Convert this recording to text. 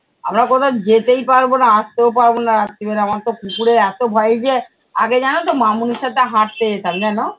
আমরা কোথাও যেতেই পারবো না আসতেও না রাত্তিবেলা আমার তো কুকুরের এতো ভয়। এই যে আগে জানো তো মামনির সাথে হাঁটতে যেতাম জানো?